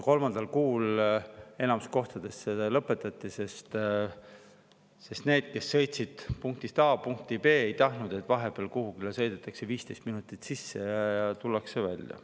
Kolmandal kuul enamikus kohtades see lõpetati, sest need, kes sõitsid punktist A punkti B, ei tahtnud, et vahepeal sõidetakse 15 minutit kuhugi sisse ja tullakse välja.